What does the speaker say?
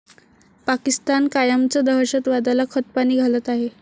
पाकिस्तान कायमच दहशतवादाला खतपाणी घालत आहे.